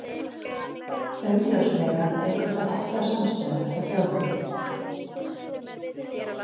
Augljóslega eykur það ekki á samstöðuna hjá þjóðinni.